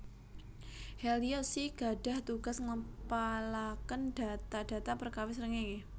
Helios I gadhah tugas ngempalaken data data perkawis srengéngé